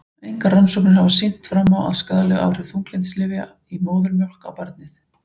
Engar rannsóknir hafa sýnt fram á skaðleg áhrif þunglyndislyfja í móðurmjólk á barnið.